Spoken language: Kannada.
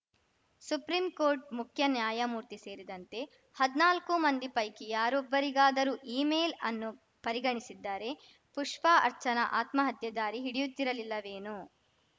ಸುಪ್ರೀಂ ಕೋರ್ಟ್‌ ಮುಖ್ಯ ನ್ಯಾಯಮೂರ್ತಿ ಸೇರಿದಂತೆ ಹದ್ನಾಲ್ಕು ಮಂದಿ ಪೈಕಿ ಯಾರೊಬ್ಬರಿಗಾದರೂ ಇಮೇಲ್‌ಅನ್ನು ಪರಿಗಣಿಸಿದ್ದರೆ ಪುಷ್ಪಾ ಅರ್ಚನಾ ಆತ್ಮಹತ್ಯೆ ದಾರಿ ಹಿಡಿಯುತ್ತಿರಲಿಲ್ಲವೇನೋ